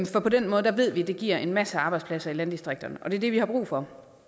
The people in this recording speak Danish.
for på den måde ved vi at det giver en masse arbejdspladser i landdistrikterne og det er det vi har brug for